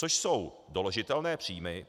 Což jsou doložitelné příjmy.